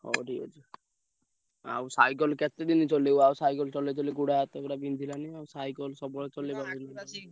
ହଉ ଠିକ ଅଛି। ଆଉ cycle କେତେ ଦିନି ଚଲେଇବ ଆଉ cycle ଚଲେଇ ଚଲେଇ ଗୋଡ ହାତ ପୁରା ବିନ୍ଧିଲାଣି ଆଉ cycle ସବୁବେଳେ ଚଲେଇ ।